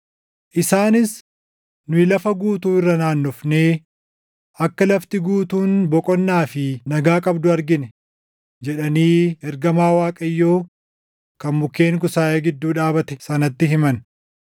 Isaanis, “Nu lafa guutuu irra naannofnee akka lafti guutuun boqonnaa fi nagaa qabdu argine” jedhanii ergamaa Waaqayyoo kan mukkeen kusaayee gidduu dhaabate sanatti himan.